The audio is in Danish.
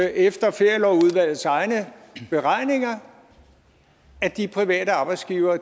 efter ferielovudvalgets egne beregninger at de private arbejdsgivere